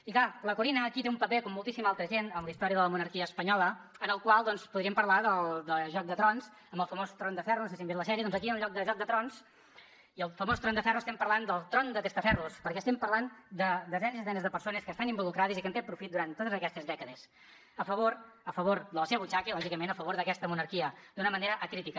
i clar la corinna aquí té un paper com moltíssima altra gent en la història de la monarquia espanyola en el qual podríem parlar de joc de trons amb el famós tron de ferro no sé si han vist la sèrie doncs aquí hi ha en lloc de joc de trons i el famós tron de ferro estem parlant del tron de testaferros perquè estem parlant de desenes i desenes de persones que hi estan involucrades i que n’han tret profit durant totes aquestes dècades a favor a favor de la seva butxaca i lògicament a favor d’aquesta monarquia d’una manera acrítica